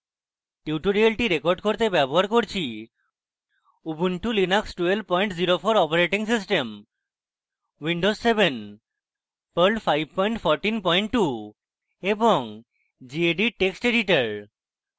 tutorial record করতে ব্যবহার করছি